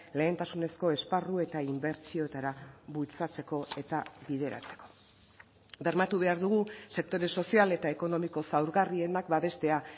lehentasunezko esparru eta inbertsioetara bultzatzeko etabideratzeko bermatu behar dugu sektore sozial eta ekonomiko zaurgarrienak babestea